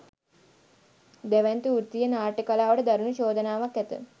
දැවැන්ත වෘත්තීය නාට්‍ය කලාවට දරුණු චෝදනාවක් ඇත